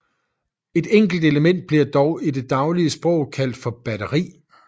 Et enkelt element bliver dog i det daglige sprog kaldt for et batteri